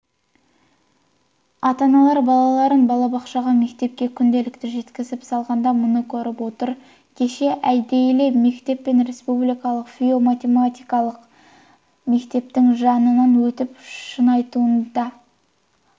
ата-аналар балаларын балабақшаға мектепке күнделікті жеткізіп салғанда мұны көріп отыр кеше әдейілеп мектеп пен республикалық физико-математикалық мектептің жанынан өттім шынтуайтында көптеген